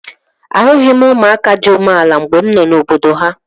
Ahụghị m ụmụaka dị umeala mgbe m nọ n'obodo ha